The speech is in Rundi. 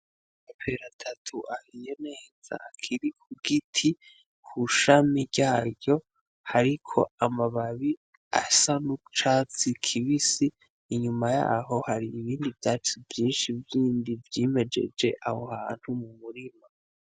Amapera atatu ahiye neza akiri ku giti ku shami ryaryo hariko amababi asa n'icatsi kibisi, inyuma yaho har'ibindi vyatsi vyinshi bindi vyimejeje aho hantu mu murima.